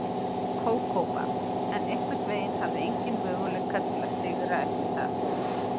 Kókó-band, en einhvern veginn hafði enginn möguleika til að sigra eftir að